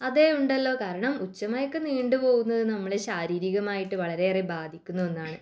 അതെ ഉണ്ടല്ലോ കാരണം ഉച്ച മയക്കം നീണ്ടുപോവുന്നത് നമ്മളെ ശാരീരികമായിട്ടു വളരെ ബാധിക്കുന്ന ഒന്നാണ്